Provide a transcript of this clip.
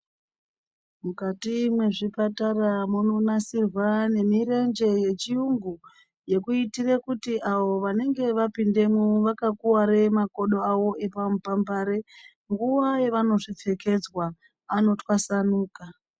Mukati mwezvipatara munonasirwa nemirenje yechiyungu yekuitire kuti avo vanenge vanopindemwo vakakuware makodo avo epamupambare nguwa yevano zvipfekedzwa anotwasanuka.